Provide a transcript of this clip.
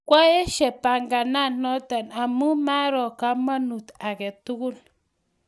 Kwaesye panganet notok amun maaro kamanut ake tukul.